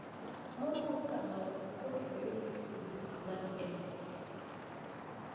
Moluor kamolo kor oyud gi midhusi mar mpox